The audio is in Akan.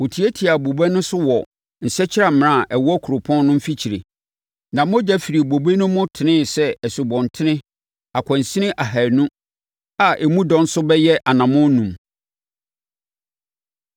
Wɔtiatiaa bobe no so wɔ nsakyiamena a ɛwɔ kuropɔn no mfikyire, na mogya firii bobe no mu teneeɛ sɛ asubɔnten akwansini ahaanu a emu dɔ nso bɛyɛ anammɔn enum.